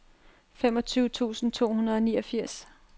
femogtyve tusind to hundrede og niogfirs